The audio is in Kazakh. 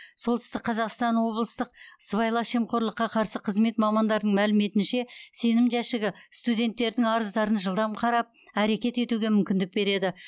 солтүстік қазақстан облыстық сыбайлас жемқорлыққа қарсы қызмет мамандарының мәліметінше сенім жәшігі студенттердің арыздарын жылдам қарап әрекет етуге мүмкіндік береді